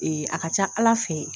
a ka ca ala fɛɛ.